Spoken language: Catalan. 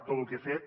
tot lo que ha fet